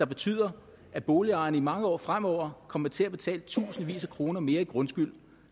betyder at boligejerne i mange år fremover kommer til at betale tusindvis af kroner mere i grundskyld